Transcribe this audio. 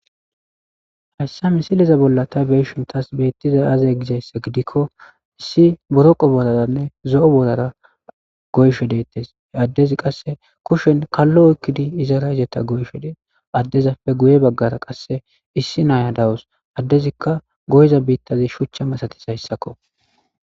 Hayssa missileza bolla tay beishin tasi bettizay aaze giizayssa giidikko issi boroqqo boorarane zo'o boorara goyishshe dettes addezi qasse kushshen kallo oykkidi iizara iizeta goyishshe dessi addezappe guye baggara qasse issi naiya dawusu addezikka goyiza biitazi shuchcha massatizayssako.